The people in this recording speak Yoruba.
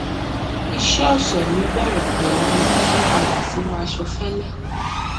iṣẹ ọsẹ mi bẹrẹ pẹlú yíyí padà sínú aṣọ fẹlẹ